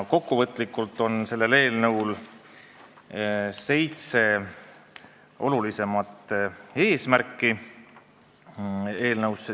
Kokkuvõtlikult on eelnõul seitse olulisemat eesmärki.